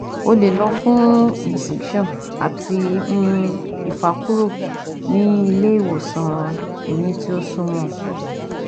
O le lọ fun incision ati um ifakuro ni ile iwosan ehin ti o sumo e